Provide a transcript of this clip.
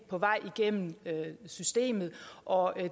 på vej igennem systemet og